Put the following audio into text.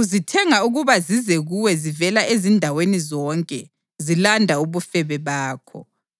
uzithenga ukuba zize kuwe zivela ezindaweni zonke zilanda ubufebe bakho.